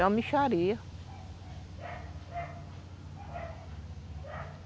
É uma mixaria